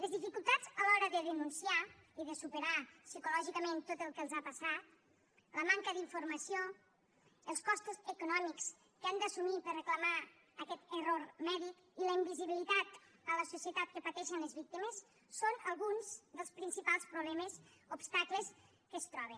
les dificultats a l’hora de denunciar i de superar psicològicament tot el que els ha passat la manca d’informació els costos econòmics que han d’assumir per a reclamar aquest error mèdic i la invisibilitat en la societat que pateixen les víctimes són alguns dels principals problemes obstacles amb què es troben